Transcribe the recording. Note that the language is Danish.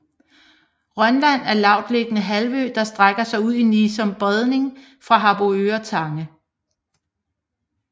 Rønland er lavtliggende halvø der strækker sig ud i Nissum Bredning fra Harboøre Tange